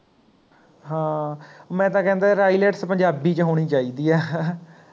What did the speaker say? ਹਾਂ ਮੈਂ ਤਾਂ ਕਹਿੰਦਾ ਯਾਰ IELTS ਪੰਜਾਬੀ ਵਿਚ ਹੋਣੀ ਚਾਹੀਦੀ ਹੈ ਹਾਂ